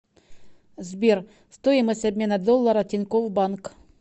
сбер стоимость обмена доллара тинькофф банк